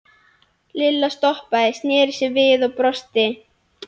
Lilla stoppaði, sneri sér við og brosti.